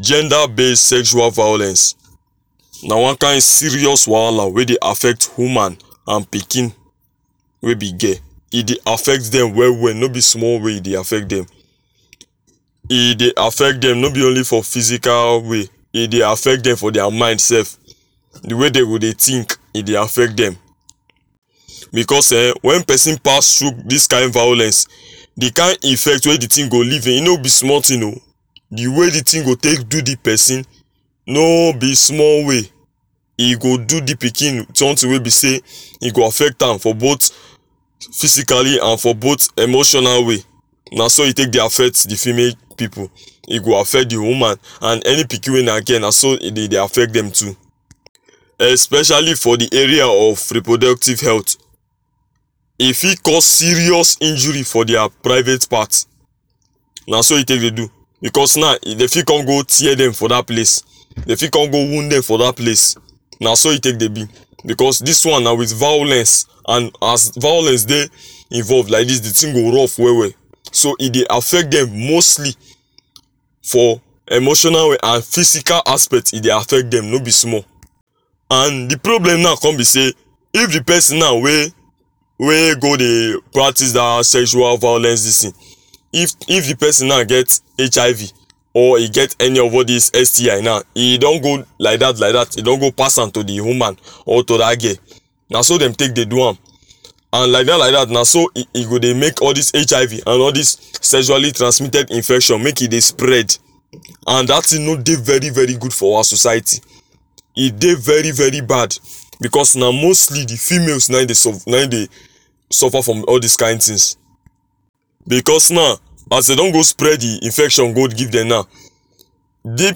Gender base sexual violence na one kind serious wahala um we dey affect woman and pikin wey be girl e dey affect dem well well no be small way e dey affect dem e dey affect dem no be only for physical way e dey affect dem for dia mind sef the way dey go dey think e dey affect dem becos eh wen pesin pass through dis kind violence the kind effect wey the thing go leave in no be small thing o the way the thing go take do the person no be small way e go do the pikin something wey be sey e go affect am for both physically and for both emotional way naso e take dey affect the female pipu e go affect the woman and any pikin wey na girl naso e dey dey affect dem too especially for the area of reproductive health e fit cause serious injury for dia private part na so e take dey do becos naw e dey fit con go tear dem for dat place dey fit con go wound dem for dat place naso e take dey be becos dis one na wit vawulence and as vawulence dey involve like dis the thing go rough well well so e dey affect dem mostly for emotional way and physical aspect e dey affect dem no be small and the problem now come be sey if the pesin naw wey wey go dey practice dat sexual violence dis thing if if the pesin naw get HIV or e get any of all dis STI naw e don go like dat like dat e don go pass am to the woman or to dat girl naso dem take dey do am and like dat like dat naso e e go dey make all dis HIV and all dis sexually transmitted infection make e dey spread and dat thing no dey very very good for our society e dey very very bad bcos na mostly the females na im dey suf na im dey suffer from all dis kind things becos naw as e don go spread the infection go give dem naw di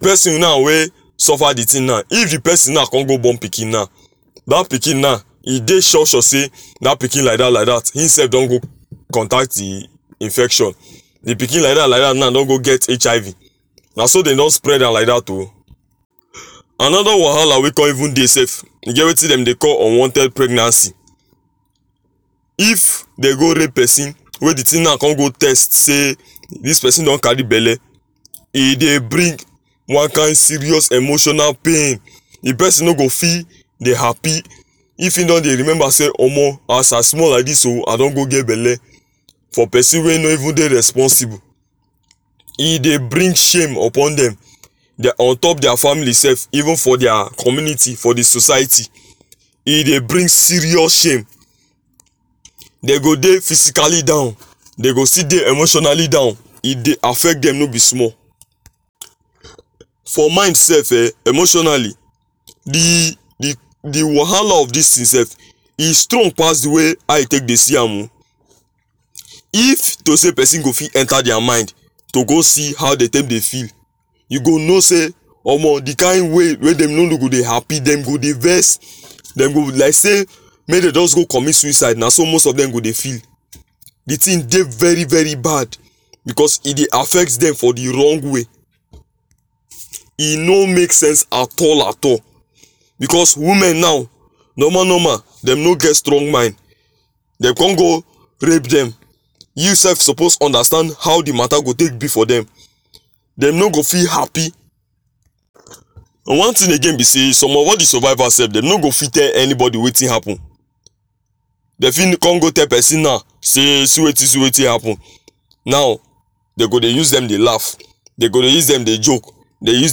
pesin naw wey suffer the thing na if the person com go born pikin naw dat pikin na e dey sure sure dy dat pikin like dat like dat him sef do go contact the infection The pikin like dat like dat na don go get HIV naso dem don spread am like dat o anoda wahala wey com even dey sef e get wetin dem dey call unwanted pregnancy if dem go rape pesin wey the thing na con go test sey dis pesin don carry belle e dey bring one kind serious emotional pain the pesin no go fit dey happy if im don dey remember say omo as i small like dis o i don go get belle for pesin wey no even dey responsible e dey bring shame upon dem dia on top dia family sef even for their community for the society e dey bring serious shame dey go dey physically down dey go still dey emotionally down e dey affect dem no be small for mind sef eh emotionally the the the wahala of dis thing sef e strong pass the way how you take dey see am oo if to say pesin go fit enter dia mind to go see how dey take dey feel you go know sey omo the kind way wey dem no go dey happy dem go dey vex dem go like sey mey dey just go commit sucide naso most of dem go dey feel the thing dey very very bad becos e dey affect dem for the wrong way e no make sense at all at all becos women now normal normal dem no get strong mind dey con go rape dem you sef suppose understand how the mata go take be for dem dem no go feel happy one thing again be sey some of all the survival sef dem no go fit tell anybody wetin happen dem fit com go tell pesin naw say see wetin see wetin happen naw dey go dey use dem dey laff dey go dey use dem dey joke dey use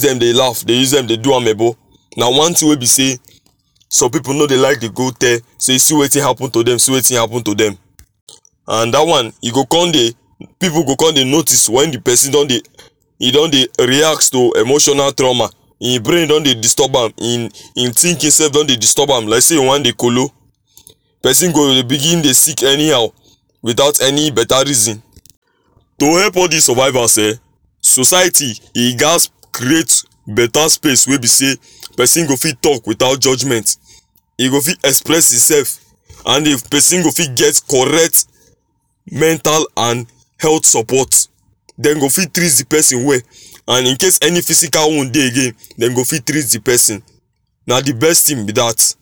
dem dey laff dey use dem dey do amebo na one thing wey be sey some pipu no dey like dey go tell say see wetin happen to dem see wetin happen to dem and dat one e go con dey pipu go con dey notice wen the pesin don dey e don dey react to emotional trauma im brain don dey disturb am im im thinking sef don dey disturb am like sey e wan dey kolo pesin go begin dey sick anyhow without any beta reason to help all dis survivals eh society e gas create beta space wey be sey pesin go fit talk without judgement e go fit express in sef and if pesin go fit get correct mental and health support dem go fit treat the pesin well and incase any physical wound dey again dem go fit treat the pesin na the best thing be dat